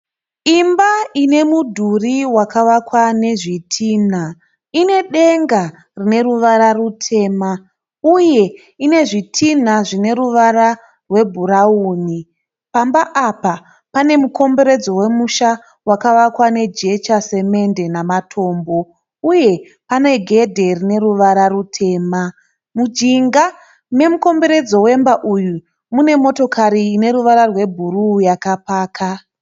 Imba ine mudhuri wakavakwa nezvitinha ine denga rine ruvara rutema uye ine zvitinha zvine ruva rwebhurawuni. Pamba apa pane mukomberedzo wemusha wakavakwa nejecha, semende namatombo uye pane gedhe rine ruvara rutema. Mujinga memukomberedzo wemba uyu mune motokari ine ruvara rwebhuru yakapaka.